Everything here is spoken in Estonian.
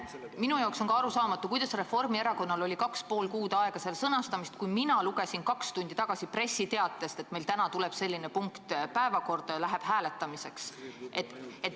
Ka minu jaoks on arusaamatu, kuidas Reformierakonnal oli kaks ja pool kuud aega ettepaneku sõnastamiseks, kui mina lugesin kaks tundi tagasi pressiteatest, et meil täna tuleb selline punkt päevakorda ja läheb hääletamiseks.